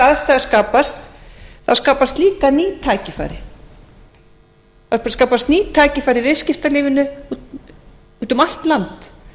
þær aðstæður skapast þá skapast líka eru tækifæri það skapast ný tækifæri í viðskiptalífinu úti um allt land